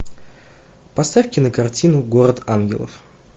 поставь кинокартину город ангелов